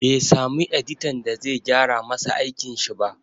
Bai samu editan da zai gyara masa aikin shi ba